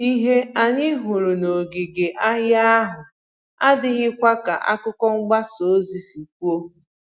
Ìhè anyị hụrụ n'òngìgè ahia ahụ adịghịkwa ka àkụ̀kọ̀ mgbasa ozi si kwuo